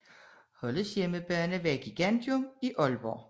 Holdets hjemmebane var Gigantium i Aalborg